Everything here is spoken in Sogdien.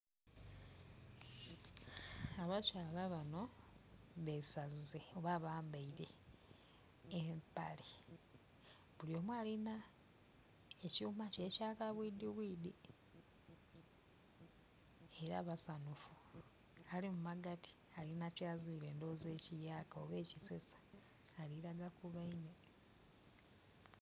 Abakyala bano besaze oba bambaile empale buli omu alina ekyuma kye ekya kabwidhibuidhi era basaanufu, ali ghagati kiboneka alina kyazuile ekiyaka oba ekisesa, ali kulagaku baine.